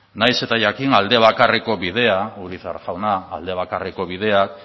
nahiz eta jakin aldebakarreko bidea urizar jauna aldebakarreko bidea